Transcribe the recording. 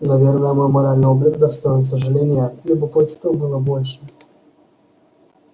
наверное мой моральный облик достоин сожаления любопытства было больше